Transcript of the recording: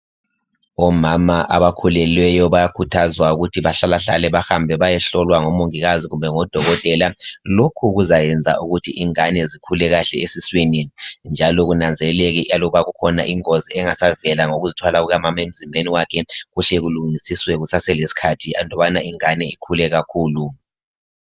Omama abakhulelweyo bayakhuthazwa ukuthi bahlalehlale bahambe bayehlolwa ngomongikazikumbe ngodokotela. Lokhu kuzayenza ukuthi ingane zikhule kuhle esiswini, njalo kunanzelelwe aluba kukhona ingozi engasavela ngokuzithwala kukamama emzimbeni wakhe kuhle kulungisiswe kusaselesikhathi aluba ingane ingakaze ikhule kakhulu.